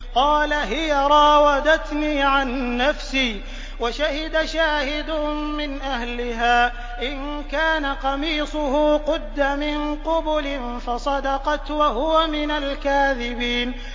قَالَ هِيَ رَاوَدَتْنِي عَن نَّفْسِي ۚ وَشَهِدَ شَاهِدٌ مِّنْ أَهْلِهَا إِن كَانَ قَمِيصُهُ قُدَّ مِن قُبُلٍ فَصَدَقَتْ وَهُوَ مِنَ الْكَاذِبِينَ